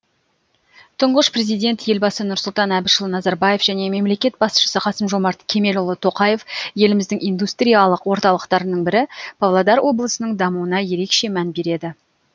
тұңғыш президент елбасы нұрсұлтан әбішұлы назарбаев және мемлекет басшысы қасым жомарт кемелұлы тоқаев еліміздің индустриялық орталықтарының бірі павлодар облысының дамуына ерекше мән береді